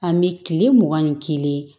Ani kile mugan ni kelen